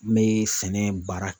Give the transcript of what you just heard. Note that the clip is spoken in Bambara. N mɛ sɛnɛ baara